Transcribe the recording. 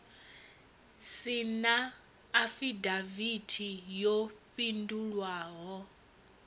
si na afidavithi yo fhindulwaho